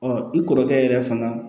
i kɔrɔkɛ yɛrɛ fana